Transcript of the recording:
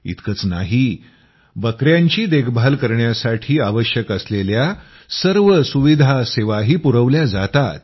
इतकंच नाही बकयांची देखभाल करण्यासाठी आवश्यक असलेल्या सर्व सुविधा सेवाही पुरवल्या जातात